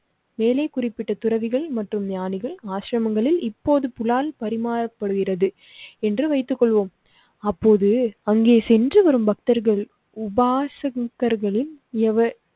மேலே குறிப்பிட்ட துறவிகள் மற்றும் ஞானிகள் ஆசிரமங்களில் இப்போது புலால் பரிமாறப்படுகிறது என்று வைத்துக் கொள்வோம். அப்போது அங்கே சென்று வரும் பக்தர்கள் உபாசகர்களின்